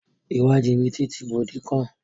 Ìwà jìbìtì ti gbòde kan.